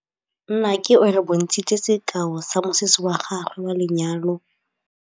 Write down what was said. Nnake o re bontshitse sekaô sa mosese wa gagwe wa lenyalo.